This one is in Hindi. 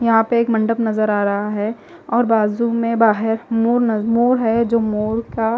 यहां पे एक मंडप नजर आ रहा है और बाजू में बाहेर मोर न मोर हैं जो मोर का--